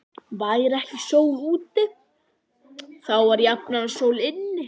Væri ekki sól úti, þá var jafnan sól inni.